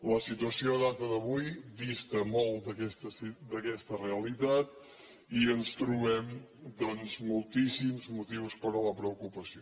la situació a data d’avui dista molt d’aquesta realitat i ens trobem doncs moltíssims motius per a la preocupació